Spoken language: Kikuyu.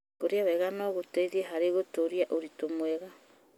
Kũrĩa wega no gũteithie harĩ gũtũũria ũritũ mwega.